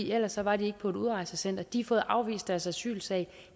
ellers var de ikke på et udrejsecenter de har fået afvist deres asylsag